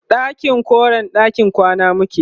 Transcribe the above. ɗakin koren ɗakin kwana muke